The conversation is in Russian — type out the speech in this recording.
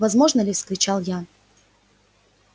возможно ли вскричал я